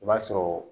I b'a sɔrɔ